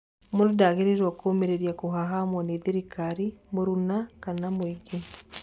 Mũndũ ndagĩrĩirwo kũũmĩrĩria kũhahamwo nĩ thirikari, mũruna kana mũingĩ.